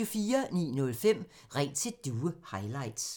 09:05: Ring til Due highlights